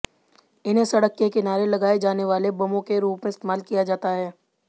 इन्हें सड़क के किनारे लगाए जाने वाले बमों के रूप में इस्तेमाल किया जाता है